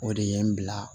O de ye n bila